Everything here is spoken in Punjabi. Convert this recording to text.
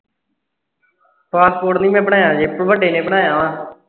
passport ਨਹੀਂ ਬਣਾਇਆ ਹੈ ਵੱਡੇ ਨੇ ਬਣਾਇਆ ਹੈ ਜਿਹੇ